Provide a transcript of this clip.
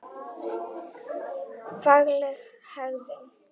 Fagleg hegðun.